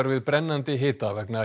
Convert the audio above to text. við brennandi hita vegna